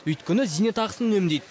өйткені зейнетақысын үнемдейді